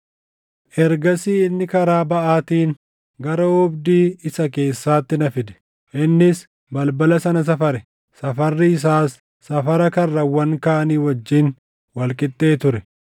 Ergasii inni karaa baʼaatiin gara oobdii isa keessaatti na fide; innis balbala sana safare; safarri isaas safara karrawwan kaanii wajjin wal qixxee ture.